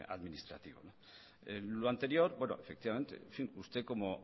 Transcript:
administrativo en lo anterior efectivamente usted como